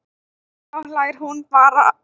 En þá hlær hún bara.